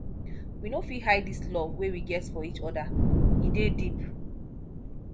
we no fit hide dis love wey we get for each oda e dey deep